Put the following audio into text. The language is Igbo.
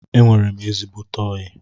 Enwere m ezigbote oyi